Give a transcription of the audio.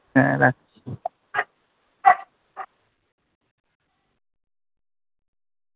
হ্যাঁ রাখ